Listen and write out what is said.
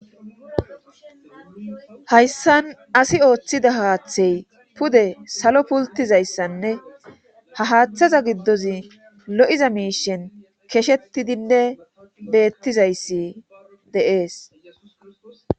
hayssan asi ooththida haaththey pude salo pultizayssanne ha haaththaza giddozi lo7iza miishen keshetidinne beettizayssi deees